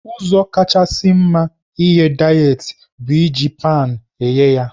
Ụzọ kachasị mma ighe dayetị bụ iji paan eghe ya.